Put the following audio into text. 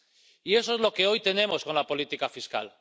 Y eso es lo que hoy tenemos con la política fiscal.